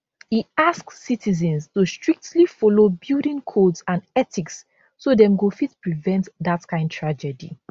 e ask citizens to strictly follow building codes and ethics so dem go fit prevent dat kind tragedy